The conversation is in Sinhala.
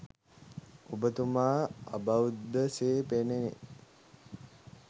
ඔබතුමා අබෞද්ධ සේ පෙනේ.